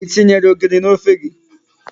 I tinyere ogiri n'ofe gị?